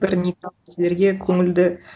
бір кісілерге көңілді